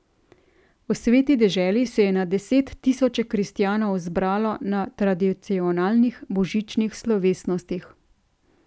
V Sveti deželi se je na deset tisoče kristjanov zbralo na tradicionalnih božičnih slovesnostih.